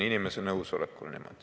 Inimene ise peab nõus olema.